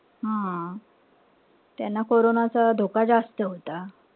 हा. त्यांना कोरोनाचा धोका जास्त होता.